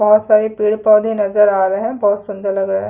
बहोत सारे पेड़-पौधे नज़र आ रहे है बहोत सुंदर लग रहा है।